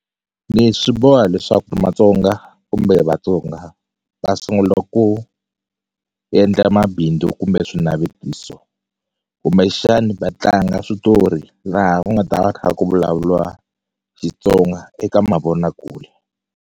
Leswi boha leswaku Matsonga kumbe Vatsonga va sungula ku yendla mabindzu kumbe swinavetiso kumbexani va tlanga switori laha ku nga ta va kha ku vulavuliwa Xitsonga eka mavonakule.